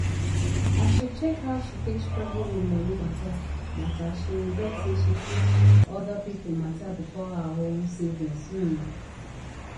as she check how she take struggle with moni matter matter she regret say she put other people matter before her own savings um